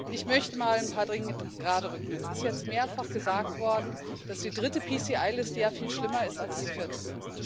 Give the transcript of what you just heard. Ich möchte mal ein paar Dinge geraderücken Es ist jetzt mehrfach gesagt worden, dass die dritte PCI Liste ja viel schlimmer ist als die vierte.